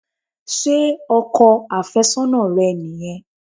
Ṣé ọkọ àfẹ́sọ́nà rẹ nìyẹn?